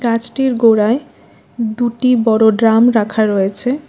গাছটির গোড়ায় দুটি বড় ড্রাম রাখা রয়েছে।